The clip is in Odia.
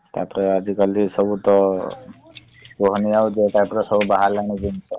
ତାପରେ ଆଜିକାଲି ସବୁ ତ କୁହନି ଆଉ ଯୋଉ type ର ସବୁ ବାହାରିଲାଣି ଜିନିଷ ।